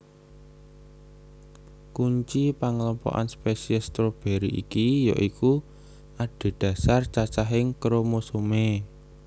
Kunci panglompokan spesies stroberi iki ya iku adhedhasar cacahing kromosomé